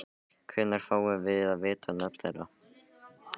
Hvenær fáum við að vita nöfn þeirra?